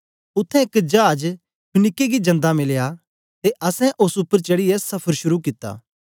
उत्थें एक चाज फीनीके गी जंदा मिलया ते असैं ओस उपर चढ़ीयै सफ़र शुरू कित्ता